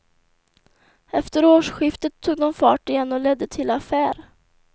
Efter årsskiftet tog de fart igen och ledde till affär.